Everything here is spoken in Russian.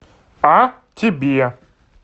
а тебе